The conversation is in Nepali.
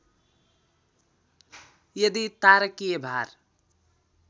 यदि तारकीय भार